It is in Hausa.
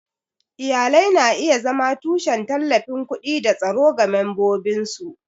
Iyalai na iya zama tushen tallafin kuɗi da tsaro ga membobinsu.